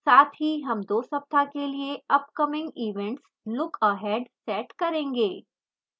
साथ ही हम 2 सप्ताह के लिए upcoming events lookahead set करेंगे